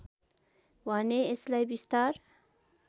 भने यसलाई विस्तार